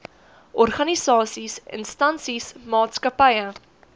organisasies instansies maatskappye